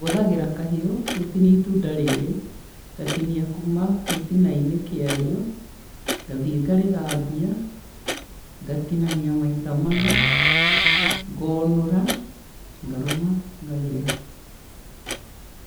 Hũthagĩra kahiũ, gũtinia itunda rĩrĩ, ngatinia kuma gĩtina-inĩ kĩa rĩo, ngathiĩ ngarĩthambia, ngatinania maita mana, ngonũra, ngarũma, ngarĩa.